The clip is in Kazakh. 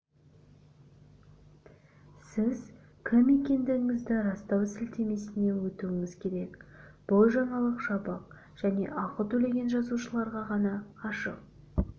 сіз кім екендігіңізді растау сілтемесіне өтуіңіз керек бұл жаңалық жабық және ақы төлеген жазылушыларға ғана ашық